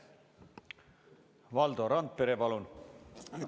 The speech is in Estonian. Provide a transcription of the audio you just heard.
Valdo Randpere, palun!